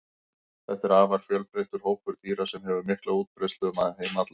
þetta er afar fjölbreyttur hópur dýra sem hefur mikla útbreiðslu um heim allan